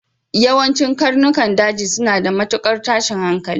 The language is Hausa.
Yawancin karnukan daji suna da matukar tashin hankali.